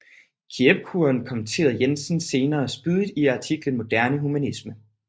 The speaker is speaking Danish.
Keippkuren kommenterede Jensen senere spydigt i artiklen Moderne Humanisme